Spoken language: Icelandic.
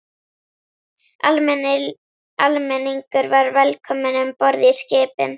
Almenningur var velkomin um borð í skipin.